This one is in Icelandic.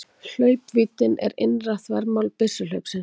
Hlaupvíddin er innra þvermál byssuhlaupsins.